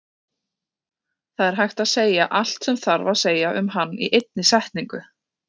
Það er hægt að segja allt sem þarf að segja um hann í einni setningu.